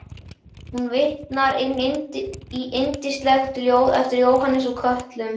Hún vitnar í yndislegt ljóð eftir Jóhannes úr Kötlum